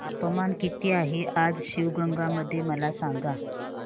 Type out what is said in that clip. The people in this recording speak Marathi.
तापमान किती आहे आज शिवगंगा मध्ये मला सांगा